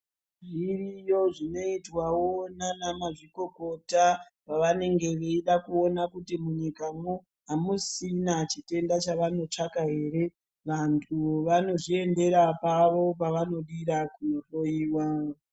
Zviriyo zvinoitwawo nanamazvikokota pavanenge veida kuona kuti munyikamwo amusisina chitenda chavanotsvaka ere vanthu vanozviendera pavo pavanodira kunohloiwa.